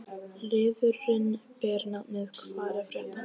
Liðurinn ber nafnið: Hvað er að frétta?